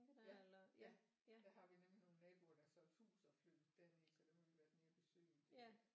Ja ja der har vi nemlig nogle naboer der har solgt hus og flyttet derned så dem har vi været nede og besøge en del